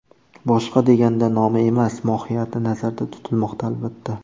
Boshqa deganda nomi emas, mohiyati nazarda tutilmoqda, albatta.